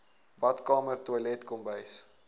badkamer toilet kombuis